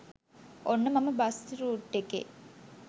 ඔන්න මම bus route එකේ